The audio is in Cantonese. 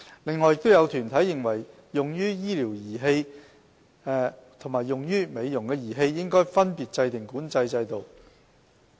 此外，亦有團體認為用於醫療的儀器和用於美容的儀器應分別制訂管制制度。